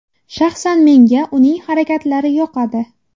Shaxsan menga uning harakatlari yoqadi.